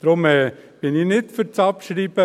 Deshalb bin ich nicht für die Abschreibung.